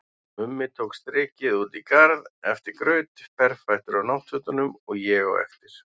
Mummi tók strikið út í garð eftir graut, berfættur á náttfötunum, og ég á eftir.